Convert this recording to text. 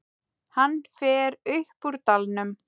Hann fer upp úr dalnum.